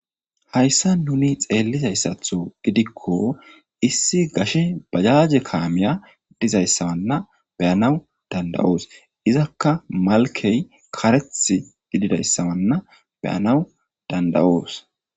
Hayssan nuuni xeelidayssato gidikko issi gashshe bajaje kamiya dizayssana be'anaw danda'os. Izakka malkke kareththa gididayssa be'anaw danda'os.